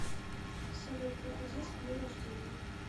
салют похудеть к дню рождения